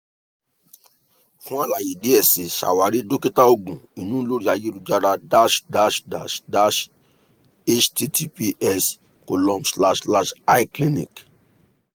fun alaye diẹ sii ṣawari dokita oogun inu lori ayelujara dash dash dash dash https column slash slash icliniq